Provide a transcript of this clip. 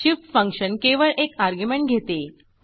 shift function केवळ एक argument घेते